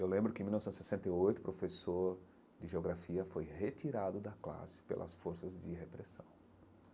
Eu lembro que, em mil novecentos e sessenta e oito, o professor de geografia foi retirado da classe pelas forças de repressão.